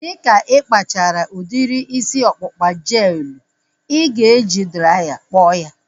Dịka ịkpachara udiri isi ọkpụkpa jel elu, ị ga-eji draya kpọọ ya